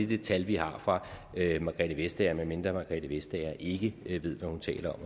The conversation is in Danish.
det tal vi har fra margrethe vestager med mindre margrethe vestager ikke ved hvad hun taler